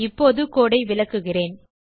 இப்போது கோடு ஐ விளக்குகிறேன்